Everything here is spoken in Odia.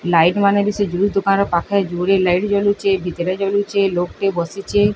ଲାଇଟ୍ ମାନେ ବି ସେ ଦୋକାନ ପାଖେ ଜୋରେ ଲାଇଟ୍ ଜଲୁଚେ। ଭିତରେ ଜଲୁଚେ ଲୋକ୍ ଟେ ବସିଲେ।